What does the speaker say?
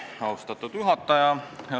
Austatud juhataja!